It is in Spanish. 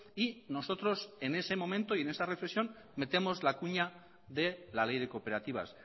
y nosotros en ese momento y en esa reflexión metemos la cuña de la ley de cooperativas